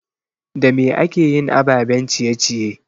Da me akeyin ababen ciye ciye?